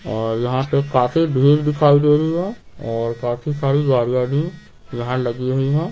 और यहां से काफी भीड़ दिखाई दे रही है और काफी सारी गाड़िया भी यहां लगी हुई है।